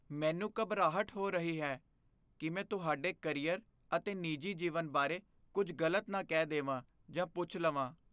ਮੈਨੂੰ ਘਬਰਾਹਟ ਹੋ ਰਹੀ ਹੈ ਕਿ ਮੈਂ ਤੁਹਾਡੇ ਕਰੀਅਰ ਅਤੇ ਨਿੱਜੀ ਜੀਵਨ ਬਾਰੇ ਕੁੱਝ ਗ਼ਲਤ ਨਾ ਕਹਿ ਦੇਵਾਂ ਜਾਂ ਪੁੱਛ ਲਵਾਂ।